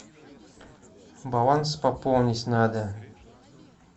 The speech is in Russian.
баланс пополнить надо